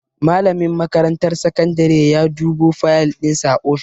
Malamin makarantar sakandare ya dubo fayal dinsa a ofis.